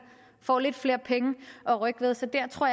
får lidt flere penge at rykke med så der tror